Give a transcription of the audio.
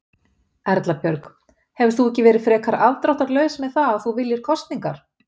Erla Björg: Hefur þú ekki verið frekar afdráttarlaus með það að þú viljir kosningar?